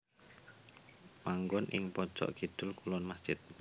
Manggon ing pojok kidul kulon masjid